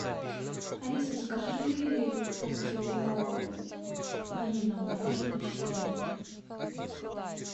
алиса закажи полкило ванильного мороженого чистая линия